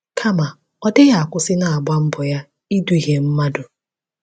Kama, ọ dịghị akwụsị n’agba mbọ ya iduhie mmadụ.